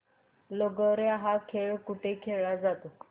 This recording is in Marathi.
लगोर्या हा खेळ कुठे खेळला जातो